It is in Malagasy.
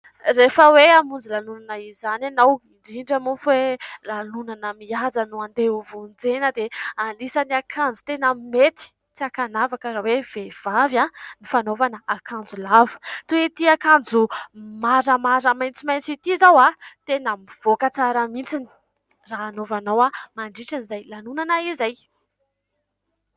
Rehefa hoe hamonjy lanonana izany ianao ; indrindra moa fa lanonana mihaja no andeha ho vonjena, dia anisany akanjo tena mety tsy hakanavaka raha hoe vehivavy : ny fanaovana akanjo lava. Toy ity akanjo maramara maitsomaitso ity izao : tena mivoaka tsara mihitsy raha hanaovanao mandritra izay lanonana izay.